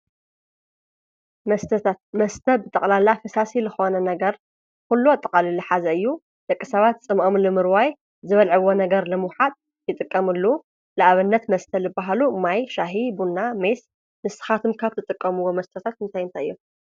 መስተታት፡- መስተ ብጠቕላላ ፈሳሲ ልኾነ ነገር ዂሉ ኣጥቓሊሉ ሕዚ እዩ፡፡ ደቂ ሰባት ፅምኦም ንምርዋይ ዝበልዕዎ ነገር ንምውሓጥ ይጥቀሙሉ፡፡ ልኣብነት መስተ ልበሃሉ ማይ፣ ሻሂ፣ ቡና ፣ሜስ ንስኻትኩም ካብ ትጥቀምዎ መስተታት እንታይ እንታይ እዮ?